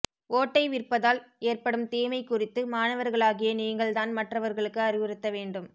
ஓட்டை விற்பதால் ஏற்படும் தீமை குறித்து மாணவர்களாகிய நீங்கள் தான் மற்றவர்களுக்கு அறிவுறுத்த வேண்டும்